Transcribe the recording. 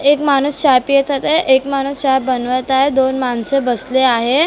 एक माणूस चहा पित होता एक माणूस चहा बनवत आहे दोन माणसं बसली आहे .